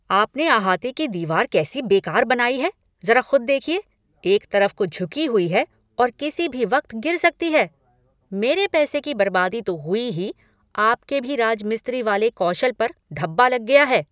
आपने अहाते की दीवार कैसी बेकार बनाई है, ज़रा खुद देखिए एक तरफ को झुकी हुई है और किसी भी वक़्त गिर सकती है। मेरे पैसे की बर्बादी तो हुई ही, आपके भी राजमिस्त्री वाले कौशल पर धब्बा लग गया है।